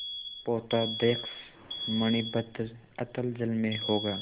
पोताध्यक्ष मणिभद्र अतल जल में होगा